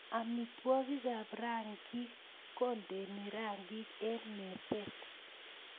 Amitwogikap rangik kondeni rangik eng meset